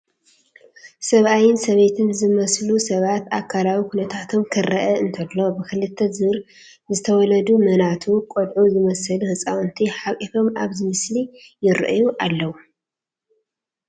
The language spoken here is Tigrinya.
ሰብኣይን ሰበይትን ዝመስሉ ሰባት ኣካላዊ ኩነታቶም ክርአ እንተሎ ብኽልተ ዙር ዝተወለዱ መናቱ ቆልዑ ዝመስሉ ህፃውንቲ ሓቒፎም ኣብዚ ምስሊ ይርኣዩ ኣለዉ፡፡